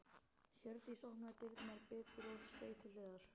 Hjördís opnaði dyrnar betur og steig til hliðar.